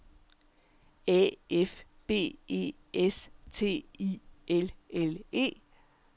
A F B E S T I L L E